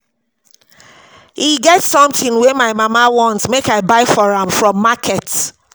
E get something wey my mama want make I buy for am from market